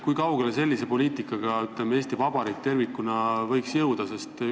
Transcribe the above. Kui kaugele sellise poliitikaga Eesti Vabariik tervikuna võiks jõuda?